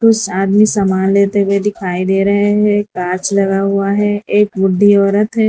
कुछ आदमी सामान लेते हुए दिखाई दे रहे हैं कांच लगा हुआ है एक बुड्ढी औरत है।